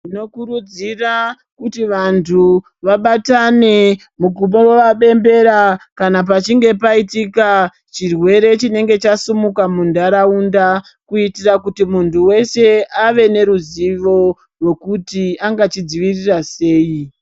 Tinokurudzira kuti vantu vabatane kubowa bembera kana pachinge paitika chirwere chinenge chasimuka muntaraunda kuitira kuti muntu weshe ava neruzivo rwekuti anga chidzivirira sei.